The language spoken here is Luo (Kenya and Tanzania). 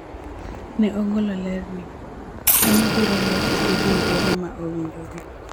Ne ogolo ler ni, kanyo biro loso gi riwruoge ma owinjore